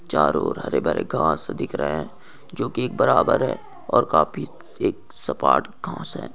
चारों ओर हरे-भरे घांस दिख रहे हैं जो की एक बराबर है और काफी एक सपाट घांस है |